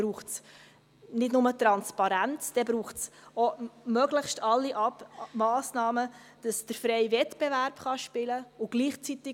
Es braucht auch möglichst alle Massnahmen, damit der freie Wettbewerb spielen kann.